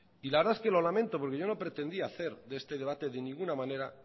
y la verdad es que lo lamento porque yo no pretendía hacer de este debate de ninguna manera